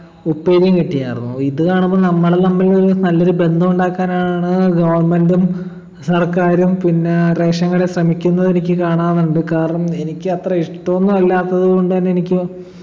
ഉപ്പേരീം കിട്ടീനാർന്നു ഇത് കാണുമ്പൊ നമ്മള് തമ്മിൽ നല്ലൊരു ബന്ധമുണ്ടാക്കാനാണോ government ഉം സർക്കാരും പിന്നെ ration കടയും ശ്രമിക്കുന്നത് എനിക്ക് കാണാനുണ്ട് കാരണം എനിക്ക് അത്ര ഇഷ്ടോന്നും അല്ലാത്തത് കൊണ്ട് തന്നെ എനിക്ക്